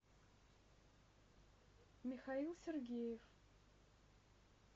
михаил сергеев